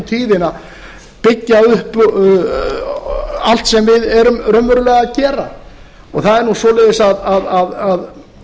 tíðina byggja upp allt sem við erum raunverulega að gera og það er nú þannig að